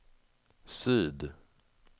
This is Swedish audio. syd